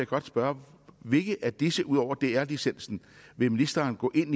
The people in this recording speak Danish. godt spørge hvilke af disse ud over dr licensen vil ministeren gå ind